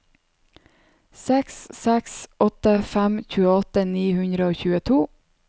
seks seks åtte fem tjueåtte ni hundre og tjueto